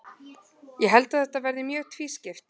Ég held að þetta verði mjög tvískipt.